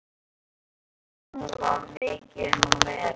Í skólanum var mikið um að vera.